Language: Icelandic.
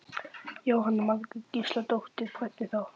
Jóhanna Margrét Gísladóttir: Hvernig þá?